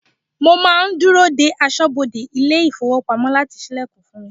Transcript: Mo máa ń dúró dé aṣọ́bodè ilé ifowopamo láti ṣílẹ̀kùn fún mi.